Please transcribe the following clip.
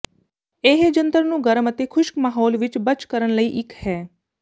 ਇਹ ਜੰਤਰ ਨੂੰ ਗਰਮ ਅਤੇ ਖੁਸ਼ਕ ਮਾਹੌਲ ਵਿੱਚ ਬਚ ਕਰਨ ਲਈ ਇੱਕ ਹੈ